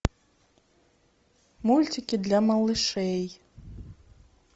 мультики для малышей